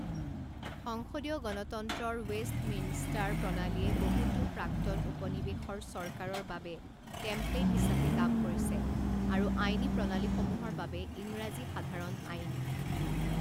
সংসদীয় গণতন্ত্ৰৰ ৱেষ্টমিনষ্টাৰ প্ৰণালীয়ে বহুতো প্ৰাক্তন উপনিৱেশৰ চৰকাৰৰ বাবে টেমপ্লেট হিচাপে কাম কৰিছে, আৰু আইনী প্ৰণালীসমূহৰ বাবে ইংৰাজী সাধাৰণ আইন।